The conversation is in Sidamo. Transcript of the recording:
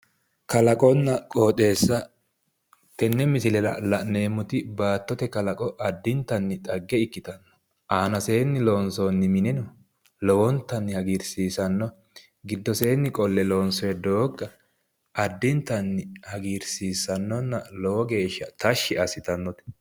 kalaqonna qooxeessa tenne misile la'neemmoti baattote kalaqo addintanni xagge ikkitanno aanaseenni loonsoonni minino lowontanni hagiirsiisanno giddoseenni qolle loonsoonni doogga addintanni hagiirsiissannonna lowo geeshsha tashshi assitannote.